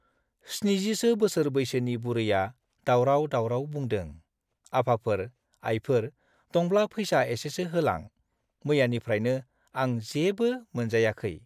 70 सो बोसोर बैसोनि बुरैया दावराव दावराव बुंदों- आफाफोर , आइफोर दंब्ला फैसा एसेसो होलां मैयानिफ्राइनो आं जेबो मोनजायाखौ